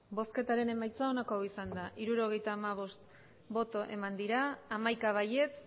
emandako botoak hirurogeita hamabost bai hamaika ez